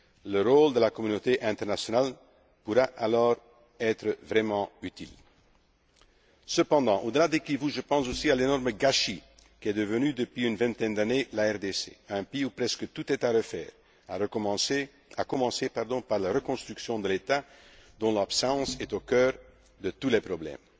Le rôle de la communauté internationale pourra alors être vraiment Cependant, au delà des Kivus, je pense aussi à l'énorme gâchis qu'est devenue depuis une vingtaine d'années, la RDC un pays où presque tout est à refaire, à commencer par la reconstruction de l'État dont l'absence est au cœur de tous les problèmes.